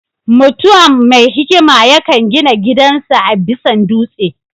Mutuam mai hikima yakan gina gidan sa a bisan dutse